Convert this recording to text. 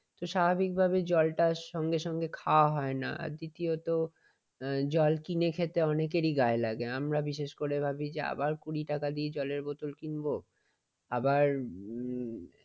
স্বাভাবিকভাবে জলটা সঙ্গে সঙ্গে খাওয়া হয় না । দ্বিতীয়ত এ জল কিনে খেতে অনেকেরই গায়ে লাগে। আমরা বিশেষ করে ভাবি যে আবার কুড়ি টাকা দিয়ে জলের বোতল কিনব। আবার উম